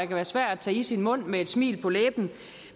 være svære at tage i sin mund med et smil på læben